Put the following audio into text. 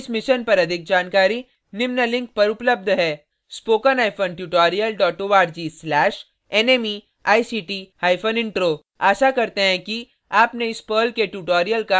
इस mission पर अधिक जानकारी निम्न लिंक पर उपलब्ध है